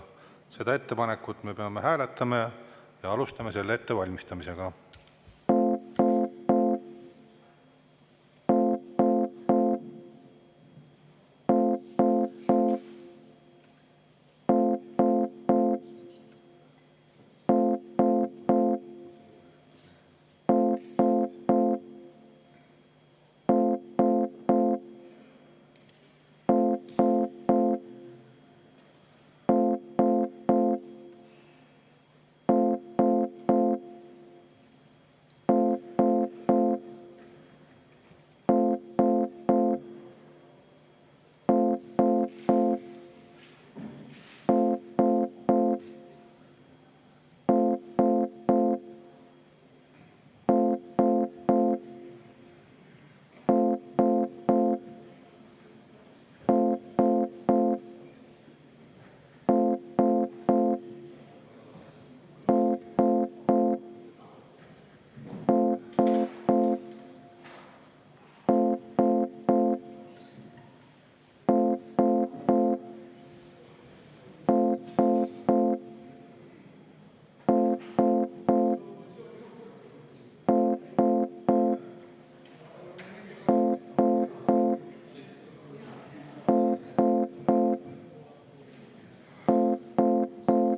Me peame seda ettepanekut hääletama ja alustame ettevalmistamisega.